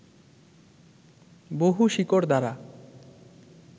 বহু শিকড় দ্বারা